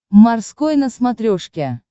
морской на смотрешке